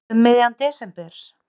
Um miðjan desember?